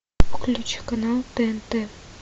включи канал тнт